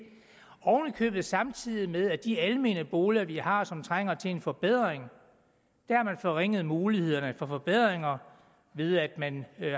købet samtidig med at de almene boliger vi har og som trænger til en forbedring har forringet mulighederne for forbedringer ved at man